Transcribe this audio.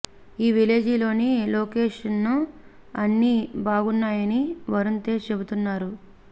ఈ విలేజ్ లోని లొకేషన్స్ అన్నీ బాగున్నాయని వరుణ్ తేజ్ చెబుతున్నారు